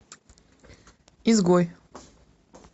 изгой